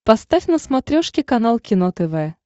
поставь на смотрешке канал кино тв